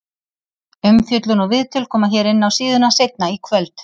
Umfjöllun og viðtöl koma hér inná síðuna seinna í kvöld.